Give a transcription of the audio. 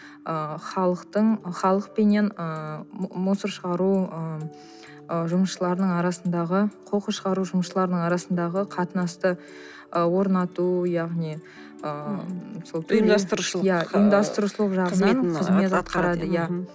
ы халықтың халықпенен ыыы мусор шығару ыыы жұмысшылардың арасындағы қоқыс шығару жұмысшыларының арасындағы қатынасты ы орнату яғни ыыы ұйымдастырушылық иә ұйымдастырушылық жағынан қызмет атқарады иә